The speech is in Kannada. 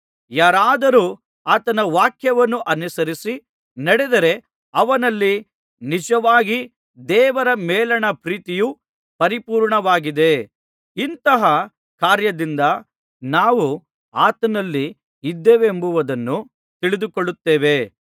ಯಾರಾದರೂ ಆತನ ವಾಕ್ಯವನ್ನು ಅನುಸರಿಸಿ ನಡೆದರೆ ಅವನಲ್ಲಿ ನಿಜವಾಗಿ ದೇವರ ಮೇಲಣ ಪ್ರೀತಿಯು ಪರಿಪೂರ್ಣವಾಗಿದೆ ಇಂತಹ ಕಾರ್ಯದಿಂದ ನಾವು ಆತನಲ್ಲಿ ಇದ್ದೇವೆಂಬುದನ್ನು ತಿಳಿದುಕೊಳ್ಳುತ್ತೇವೆ